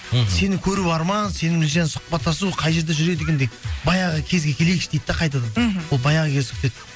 мхм сені көру арман сенімен сұхпаттасу қай жерде жүреді екен деп баяғы кезге келейікші дейді да қайтадан мхм ол баяғы кез